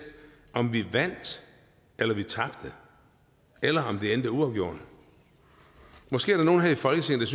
om vi vandt eller vi tabte eller om det endte uafgjort måske er der nogen her i folketinget